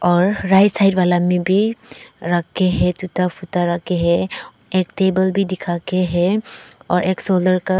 और right side वाला में भी रखे हैं जूता फूटा रखे है एक टेबल भी दिख के है और एक सोलर का--